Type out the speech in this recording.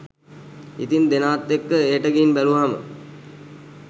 ඉතින් දෙනාත් එක්ක එහෙට ගිහින් බැලුවහම